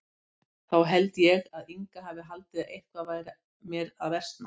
Þá held ég að Inga hafi haldið að eitthvað væri mér að versna.